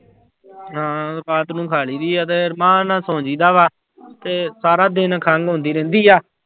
ਹਾਂ ਰਾਤ ਨੂੰ ਖਾ ਲਈਦੀ ਆ ਤੇ ਨਾਲ ਸੋਂ ਜਾਈਦਾ ਵਾ ਤੇ ਸਾਰਾ ਦਿਨ ਖੰਘ ਆਉਂਦੀ ਰਹਿੰਦੀ ਆ।